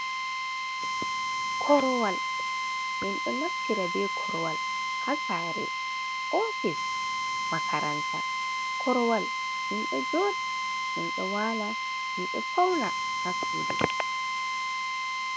"Korowal" minɗo naftira be korowal ha saare, ofis, makaranta. Korowal minɗo joɗa minɗo waala minɗo fauna ha sudu.